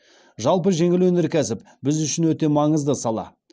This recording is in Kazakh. жалпы жеңіл өнеркәсіп біз үшін өте маңызды сала